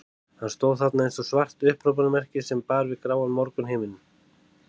Hann stóð þarna eins og svart upphrópunarmerki sem bar við gráan morgunhimininn.